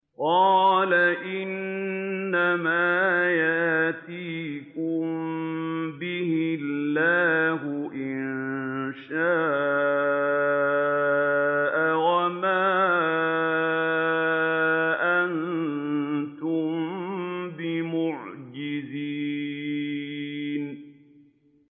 قَالَ إِنَّمَا يَأْتِيكُم بِهِ اللَّهُ إِن شَاءَ وَمَا أَنتُم بِمُعْجِزِينَ